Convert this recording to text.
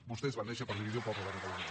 vostès van néixer per dividir el poble de catalunya